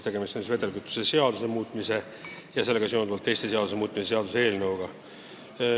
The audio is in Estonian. Tegemist on siis vedelkütuse seaduse muutmise ja sellega seonduvalt teiste seaduste muutmise seaduse eelnõuga.